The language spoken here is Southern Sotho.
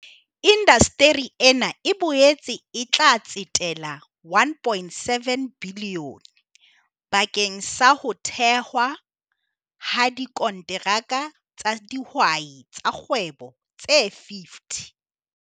Indasteri ena e boetse e tla tsetela R1.7 bilione bakeng sa ho thehwa ha dikonteraka tsa dihwai tsa kgwebo tse 50.